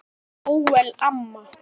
Elsku Bóel amma.